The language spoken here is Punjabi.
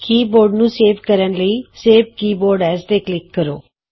ਕੀਬੋਰਡ ਨੂੰ ਸੇਵ ਕਰਨ ਲਈ ਸੇਵ ਕੀਬੋਰਡ ਐਜ਼ ਤੇ ਕਲਿਕ ਕਰੋ